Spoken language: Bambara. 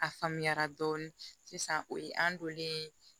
A faamuyara dɔɔni sisan o ye an donlen ye